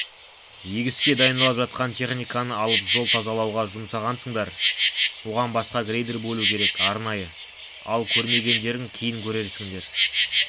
егіске дайындалып жатқан техниканы алып жол тазалауға жұмсағансыңдар оған басқа грейдер бөлу керек арнайы ал көрмегендерің кейін көрерсіңдер